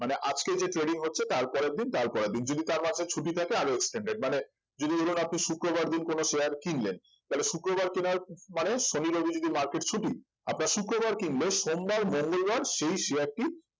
মানে আজকে যে trading হচ্ছে তারপরের দিন তারপরের দিন যদি তার মাঝে ছুটি থাকে আরো extended মানে যদি ধরুন আপনি শুক্রবার দিন কোন share কিনলেন তাহলে শুক্রবার কেনার মানে শনি রবি যদি market ছুটি আপনার শুক্রবার কিনলে সোমবার মঙ্গলবার সেই share টি মানে